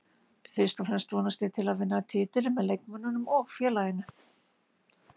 Fyrst og fremst vonast ég til að vinna titilinn með leikmönnunum og félaginu